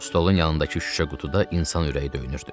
Stolun yanındakı şüşə qutuda insan ürəyi döyünürdü.